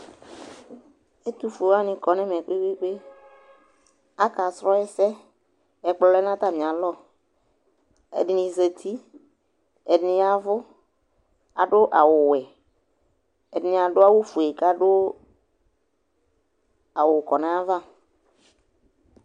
Ɛtʋfue wanɩ kɔ nʋ ɛmɛ kpe-kpe-kpe Akasrɔ ɛsɛ, ɛkplɔ lɛ nʋ atamɩalɔ Ɛdɩnɩ zati, ɛdɩnɩ ya ɛvʋ Adʋ awʋwɛ Ɛdɩnɩ adʋ awʋfue kʋ adʋ awʋ kɔ nʋ ayava